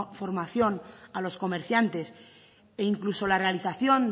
formación a los comerciantes e incluso la realización